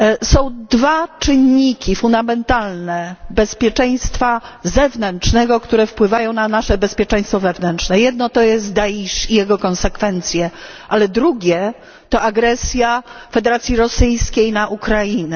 Są dwa fundamentalne czynniki bezpieczeństwa zewnętrznego, które wpływają na nasze bezpieczeństwo wewnętrzne jedno, to jest Daisz i jego konsekwencje, ale drugie, to agresja Federacji Rosyjskiej na Ukrainę.